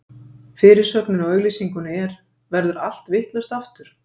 Fyrirsögnin á auglýsingunni er: Verður allt vitlaust, aftur?